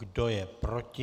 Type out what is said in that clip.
Kdo je proti?